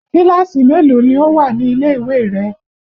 Kíláàsì mélòó ni ó wà nílè ìwé rẹ?